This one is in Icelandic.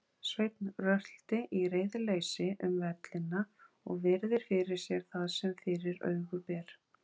Sveinn röltir í reiðileysi um vellina og virðir fyrir sér það sem fyrir augu ber.